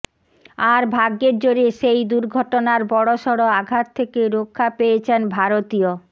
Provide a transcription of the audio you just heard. আর ভাগ্যের জোরে সেই দুর্ঘটনায় বড়সড় আঘাত থেকে রক্ষা পেয়েছেন ভারতীয়